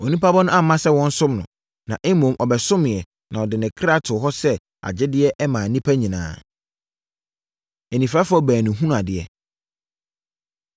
Onipa Ba no amma sɛ wɔnsom no, na mmom ɔbɛsomoeɛ, na ɔde ne ɔkra too hɔ sɛ agyedeɛ maa nnipa nyinaa.” Anifirafoɔ Baanu Hunu Adeɛ